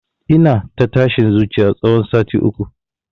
Ina ta tashin zuciya tsawon sati uku